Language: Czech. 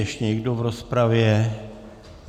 Ještě někdo v rozpravě?